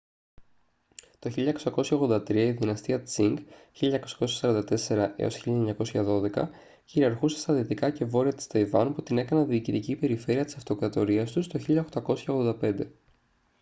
το 1683 η δυναστεία τσινγκ 1644-1912 κυριαρχούσε στα δυτικά και βόρεια της ταϊβάν που την έκαναν διοικητική περιφέρεια της αυτοκρατορίας τους το 1885